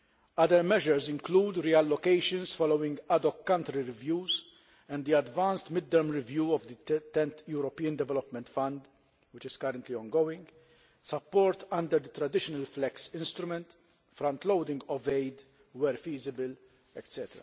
Other measures include reallocations following ad hoc country reviews and the advanced Mid Term Review of the 10th European Development Fund, which is currently ongoing, support under the traditional FLEX instrument, frontloading of aid where feasible, etc.